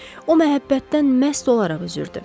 O məhəbbətdən məst olaraq üzürdü.